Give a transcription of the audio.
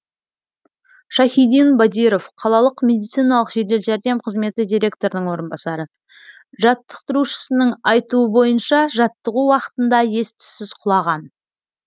шайхидин бадиров қалалық медициналық жедел жәрдем қызметі директорының орынбасары жаттықтырушысының айтуы бойынша жаттығу уақытында ес түссіз құлаған